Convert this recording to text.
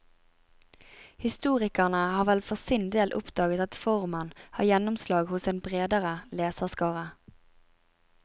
Historikerne har vel for sin del oppdaget at formen har gjennomslag hos en bredere leserskare.